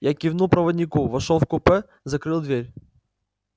я кивнул проводнику вошёл в купе закрыл дверь